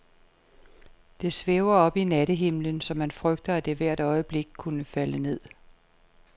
Det svæver oppe i nattehimlen, så man frygter, at det hvert øjeblik kunne falde ned.